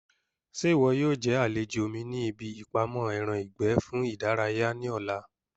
Ṣé ìwọ yóò jẹ́ àlejò mi ní ibi ìpamọ́ ẹran ìgbẹ́ fún ìdárayá ní ọ̀la?